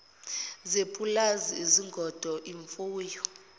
zepulazi izingodo imfuyo